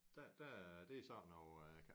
Der der er det sådan noget øh